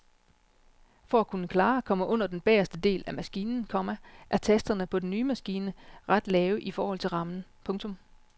For at kunne klare at komme under den bageste del af maskinen, komma er tasterne på den nye maskine ret lave i forhold til rammen. punktum